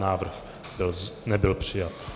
Návrh nebyl přijat.